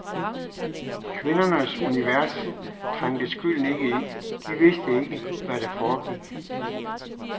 I kvindernes univers trængte skylden ikke ind, de vidste ikke, hvad der foregik.